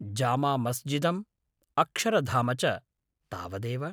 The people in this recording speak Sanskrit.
जामा मस्जिदम्, अक्षरधाम च, तावदेव।